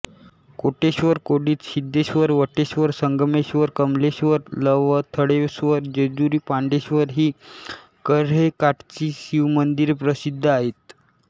कोटेश्वरकोडित सिद्धेश्वर वटेश्वर संगमेश्वर कमलेश्वर लवथळेश्वर जेजुरी पांडेश्वर ही कऱ्हेकाठची शिवमंदिरे प्रसिद्ध आहेत